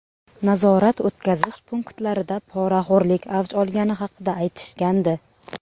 Nazorat-o‘tkazish punktlarida poraxo‘rlik avj olgani haqida aytishgandi.